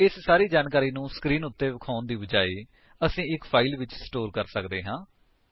ਇਸ ਸਾਰੀ ਜਾਣਕਾਰੀ ਨੂੰ ਸਕਰੀਨ ਉੱਤੇ ਦਿਖਾਉਣ ਦੀ ਬਜਾਏ ਅਸੀ ਇੱਕ ਫਾਇਲ ਵਿੱਚ ਸਟੋਰ ਕਰ ਸਕਦੇ ਹਾਂ